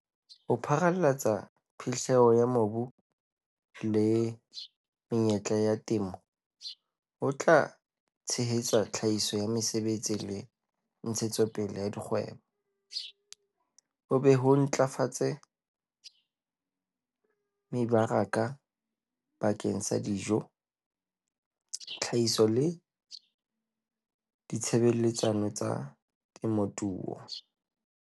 Ho pharalatsa phihlello ya mobu le menyetla ya temo ho tla tshehetsa tlhahiso ya mesebetsi le ntshetsopele ya dikgwebo, ho be ho ntlafatse mebaraka bakeng sa dijo, dihlahiswa le ditshebeletso tsa temothuo.